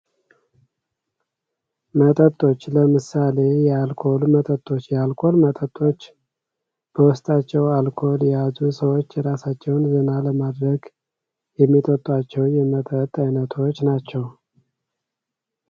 መጠጦች፦ ለምሳሌ ፦የአልኮል መጠጦች፤ የአልኮል መጠጦች በውስጣቸው አልኮል የያዙ ሰወች ራሳቸውን ዘና ለማድረግ የሚጠጧቸው የመጠጥ አይነቶች ናቸው።